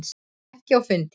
Ekki á fundi.